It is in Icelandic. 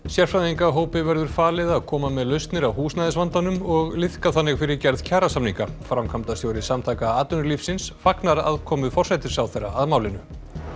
sérfræðingahópi verður falið að koma með lausnir á húsnæðisvandanum og liðka þannig fyrir gerð kjarasamninga framkvæmdastjóri Samtaka atvinnulífsins fagnar aðkomu forsætisráðherra að málinu